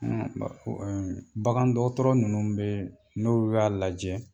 Bagan dɔgɔtɔrɔ ninnu bɛ yen n'olu y'a lajɛ